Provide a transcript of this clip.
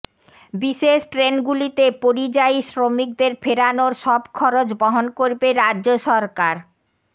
বিশেষ ট্রেনগুলিতে পরিযায়ী শ্রমিকদের ফেরানোর সব খরচ বহন করবে রাজ্য সরকার